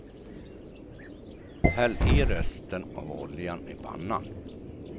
Häll i resten av oljan i pannan.